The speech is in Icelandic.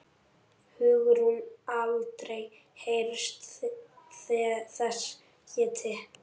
Hugrún: Aldrei heyrt þess getið?